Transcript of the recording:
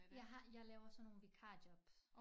Jeg har jeg laver sådan nogle vikarjobs